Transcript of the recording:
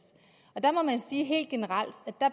der må man sige helt generelt